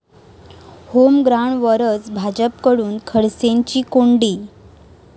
होमग्राऊंडवरच भाजपकडून खडसेंची कोंडी